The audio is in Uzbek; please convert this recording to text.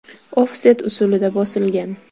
Ofset usulida bosilgan.